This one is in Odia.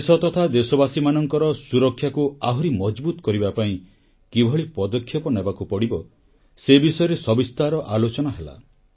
ଦେଶ ତଥା ଦେଶବାସୀମାନଙ୍କର ସୁରକ୍ଷାକୁ ଆହୁରି ମଜବୁତ୍ କରିବା ପାଇଁ କିଭଳି ପଦକ୍ଷେପ ନେବାକୁ ପଡ଼ିବ ସେ ବିଷୟରେ ସବିସ୍ତାର ଆଲୋଚନା ହେଲା